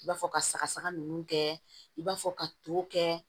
I b'a fɔ ka saga saga ninnu kɛ i b'a fɔ ka to kɛ